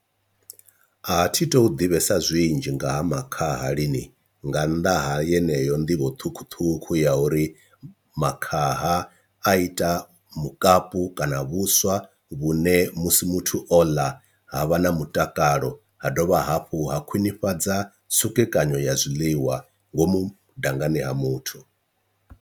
A thi tu ḓivhesa zwinzhi nga ha makhaha lini, nga nnḓa ha yeneyo nḓivho ṱhukhuṱhukhu ya uri makhaha a ita mukapu kana na vhuswa vhune musi muthu o ḽa ha vha na mutakalo ha dovha hafhu ha khwinifhadza tsukekanyo ya zwiḽiwa ngomu dangani ha muthu.